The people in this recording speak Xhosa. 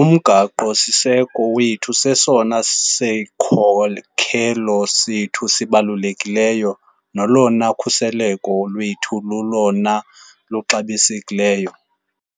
uMgaqo-siseko wethu sesona sikhokelo sethu sibalulekileyo nolona khuseleko lwethu lulolona luxabisekileyo.